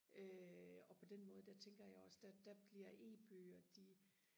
øh og på den måde der tænker jeg også der der bliver e-bøger de